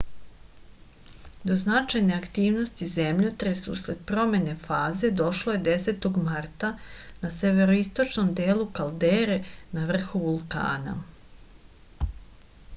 do značajne aktivnosti zemljotres usled promene faze došlo je 10. marta na severoistočnom delu kaldere na vrhu vulkana